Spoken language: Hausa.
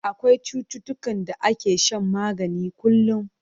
Akwai cututtukan da ake shan magani kullum.